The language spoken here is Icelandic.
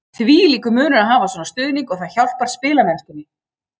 Þvílíkur munur að hafa svona stuðning og það hjálpar spilamennskunni.